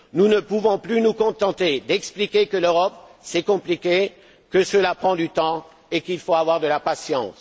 Nous ne pouvons plus nous contenter d'expliquer que l'Europe c'est compliqué, que cela prend du temps et qu'il faut avoir de la patience.